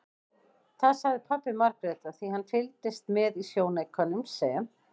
Það sagði pabbi Margrétar því hann fylgdist með í sjónaukanum sem